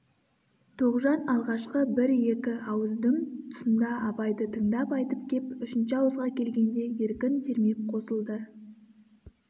тоғжан алғашқы бір-екі ауыздың тұсында абайды тыңдап айтып кеп үшінші ауызға келгенде еркін сермеп қосылды